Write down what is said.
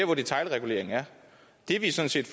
hvor detailreguleringen er det vi sådan set